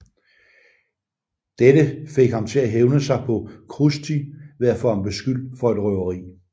Dette fik ham til at hævne sig på Krusty ved at få ham beskyldt for et røveri